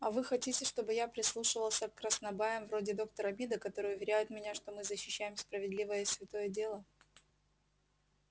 а вы хотите чтобы я прислушивался к краснобаям вроде доктора мида которые уверяют меня что мы защищаем справедливое и святое дело